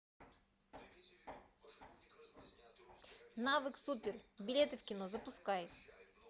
навык супер билеты в кино запускай